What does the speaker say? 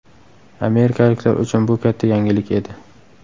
Amerikaliklar uchun bu katta yangilik edi.